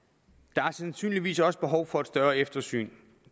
der er sandsynligvis også behov for et større eftersyn